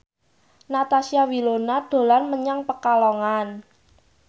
Natasha Wilona dolan menyang Pekalongan